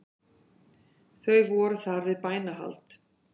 Þeir voru þar við bænahald